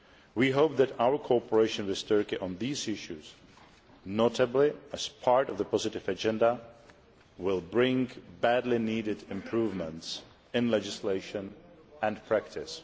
We hope that our cooperation with Turkey on these issues, notably as part of the positive agenda, will bring badly needed improvements in legislation and practice.